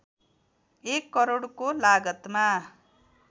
१ करोडको लागतमा